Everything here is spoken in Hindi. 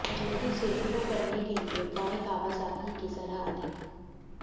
जल्दी से शुरू करने के लिए गाय कावासाकी की सलाह अधिक